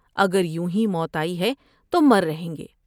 اگر یوں ہی موت آئی ہے تو مررہیں گے ۔